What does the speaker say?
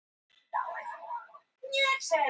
Hvaðan er orðið komið og hvað er það gamalt?